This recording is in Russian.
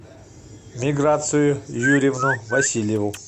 миграцию юрьевну васильеву